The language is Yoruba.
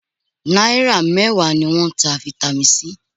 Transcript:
Náírà mẹ́wàá ni wọ́n ń ta Vitamin C